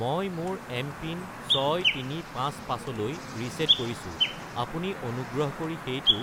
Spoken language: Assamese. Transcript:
মই মোৰ এমপিন 6355 -লৈ ৰিচেট কৰিছো, আপুনি অনুগ্ৰহ কৰি সেইটো